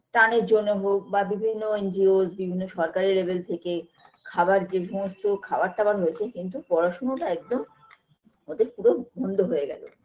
ত্রাণের জন্য হোক বা বিভিন্ন ngos বিভিন্ন সরকারি level থেকে খাবার যে সমস্ত খাবার টাবার হয়েছে কিন্তু পড়াশুনাটা একদম ওদের পুরো বন্ধ হয়ে গেল